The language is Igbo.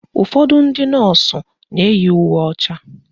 Ụfọdụ ndị nọọsụ na-eyi uwe ọcha